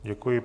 Děkuji.